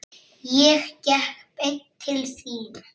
Ég gekk beint til þín.